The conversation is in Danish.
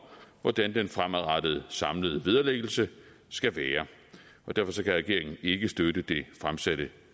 hvordan den fremadrettede samlede vederlæggelse skal være derfor kan regeringen ikke støtte det fremsatte